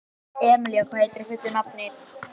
Emelía, hvað heitir þú fullu nafni?